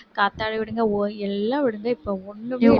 காத்தாடி விடுங்க ஒ~ எல்லாம் விடுங்க இப்ப ஒண்ணுமே